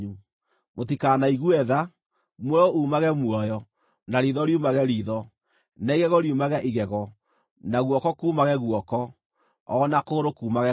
Mũtikanaigue tha; muoyo uumage muoyo, na riitho riumage riitho, na igego riumage igego, na guoko kuumage guoko, o na kũgũrũ kuumage kũgũrũ.